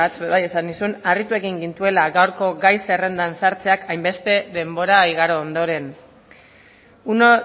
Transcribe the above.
ere bai esan nizun harritu egin gintuela gaurko gai zerrendan sartzeak hainbeste denbora igaro ondoren uno